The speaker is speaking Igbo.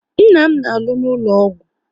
Nna m na alụ n'ụlọ ọgwụ